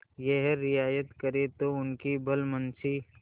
यह रियायत करें तो उनकी भलमनसी